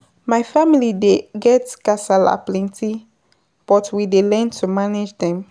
My family dey get kasala plenty, but we dey learn to manage dem.